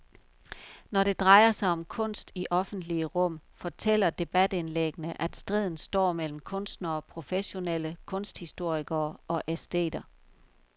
Når det drejer sig om kunst i offentlige rum, fortæller debatindlæggene, at striden står mellem kunstnere, professionelle kunsthistorikere og æsteter.